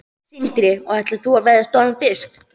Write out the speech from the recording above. Sindri: Og ætlar þú að veiða stóran fisk?